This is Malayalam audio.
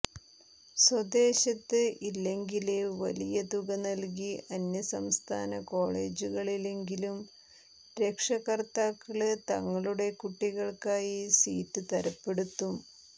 സ്വദേശത്ത് ഇല്ലെങ്കില് വലിയ തുക നല്കി അന്യസംസ്ഥാന കോളേജുകളിലെങ്കിലും രക്ഷകര്ത്താക്കള് തങ്ങളുടെ കുട്ടികള്ക്കായി സീറ്റ് തരപ്പെടുത്തും